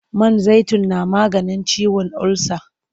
Man zaitun na maganin ciwon ulsa.